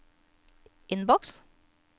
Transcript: innboks